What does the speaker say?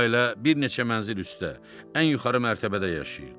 Bu ailə bir neçə mənzil üstdə, ən yuxarı mərtəbədə yaşayırdı.